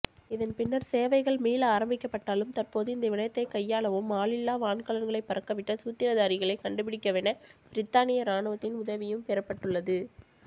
இதன்பின்னர் சேவைகள் மீள ஆரம்பிக்கப்பட்டாலும் தற்போது இந்தவிடயத்தை கையாளவும் ஆளில்லா வான்கலங்களை பறக்கவிட்ட சூத்திரதாரிகளை கண்டுபிடிக்கவென பிரித்தானிய ராணுவத்தின் உதவியும்பெறப்பட்டுள்ளது